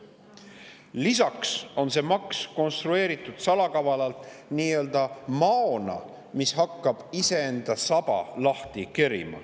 Lisaks on see maks konstrueeritud salakavalalt nii-öelda maona, mis hakkab iseenda saba lahti kerima.